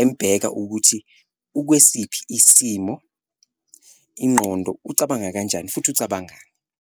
embheka ukuthi ukwesiphi isimo, ingqondo ucabanga kanjani futhi ucabangani.